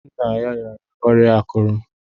Nna ya rịara ọrịa akụrù.